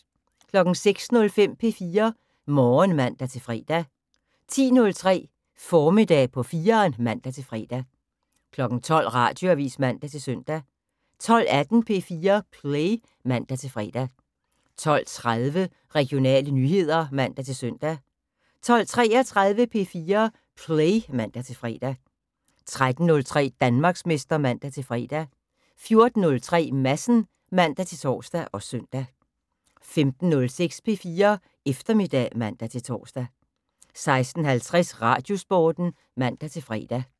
06:05: P4 Morgen (man-fre) 10:03: Formiddag på 4'eren (man-fre) 12:00: Radioavis (man-søn) 12:18: P4 Play (man-fre) 12:30: Regionale nyheder (man-søn) 12:33: P4 Play (man-fre) 13:03: Danmarksmester (man-fre) 14:03: Madsen (man-tor og søn) 15:06: P4 Eftermiddag (man-tor) 16:50: Radiosporten (man-fre)